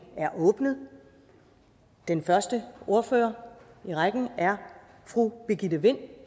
er åbnet og den første ordfører i rækken er fru birgitte vind